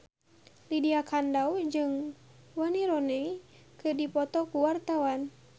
Lydia Kandou jeung Wayne Rooney keur dipoto ku wartawan